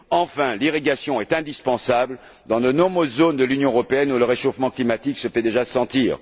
Enfin, l'irrigation est indispensable dans de nombreuses zones de l'Union européenne où le réchauffement climatique se fait déjà sentir.